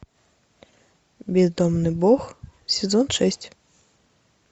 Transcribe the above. бездомный бог сезон шесть